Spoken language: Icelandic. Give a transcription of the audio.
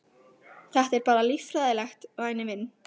Þetta er bara líffræðilegt, væni minn.